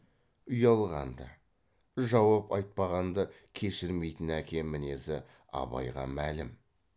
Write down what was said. ұялғанды жауап айтпағанды кешірмейтін әке мінезі абайға мәлім